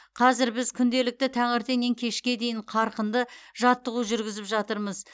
қазір біз күнделікті таңертеңнен кешке дейін қарқынды жаттығу жүргізіп жатырмыз